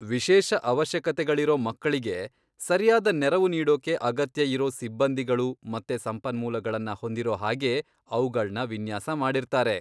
ವಿಶೇಷ ಅವಶ್ಯಕತೆಗಳಿರೋ ಮಕ್ಕಳಿಗೆ ಸರ್ಯಾದ ನೆರವು ನೀಡೋಕೆ ಅಗತ್ಯ ಇರೋ ಸಿಬ್ಬಂದಿಗಳು ಮತ್ತೆ ಸಂಪನ್ಮೂಲಗಳನ್ನ ಹೊಂದಿರೋ ಹಾಗೆ ಅವ್ಗಳ್ನ ವಿನ್ಯಾಸ ಮಾಡಿರ್ತಾರೆ.